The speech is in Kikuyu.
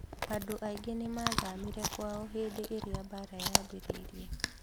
Anũ aingĩ nĩ mathamire kwao hĩndĩ ĩrĩa mbara yambĩrĩirie